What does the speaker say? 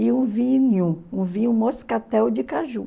E o vinho, um vinho moscatel de caju.